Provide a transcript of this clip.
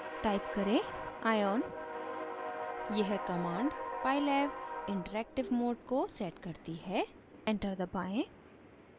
type करें: ion यह command pylab interactive mode को sets करती है एंटर दबाएँ